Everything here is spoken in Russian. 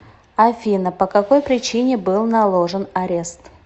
афина по какой причине был наложен арест